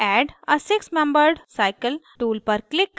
add a six membered cycle tool पर click करें